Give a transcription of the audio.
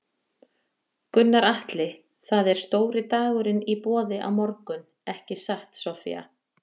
Gunnar Atli: Það er stóri dagurinn í boði á morgun ekki satt Soffía?